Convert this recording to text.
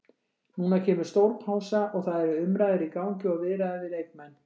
Núna kemur stór pása og það eru umræður í gangi og viðræður við leikmenn.